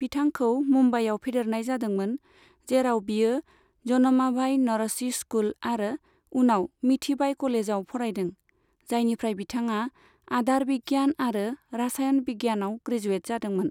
बिथांखौ मुम्बाइयाव फेदेरनाय जादोंमोन, जेराव बियो जमनाबाई नरसी स्कुल आरो उनाव मीठीबाई कलेजआव फरायदों, जायनिफ्राय बिथांआ आदार बिगियान आरो रासायन बिगियानाव ग्रेजुयेट जादोंमोन।